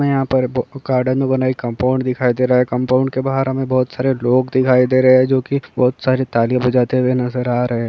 हमें यहाँ पर बो गार्डन में बनाई कम्पौंड दिखाई दे रहा हैं। कम्पौंड के बहार हमें बहुत सारे लोग दिखाई दे रहे हैं। जो की बहुत सारी तालि बजाते नजर आ रहे हैं।